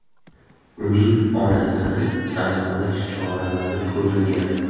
Uning onasini aniqlash choralari ko‘rilgan.